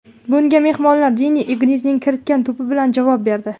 Bunga mehmonlar Denni Ingzning kiritgan to‘pi bilan javob berdi.